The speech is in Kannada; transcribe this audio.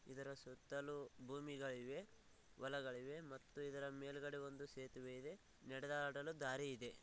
ಇದರ ಸುತ್ತಲೂ ಭೂಮಿ ಗಯಿವೆ ಹೊಲಗಳು ಇವೆ ಮತ್ತು ಇದರ ಮೇಲುಗಡೆ ಒಂದು ಸೇತುವೆ ಇದೆ ನಡೆದಾಡಲು ದಾರಿ ಇದೆ.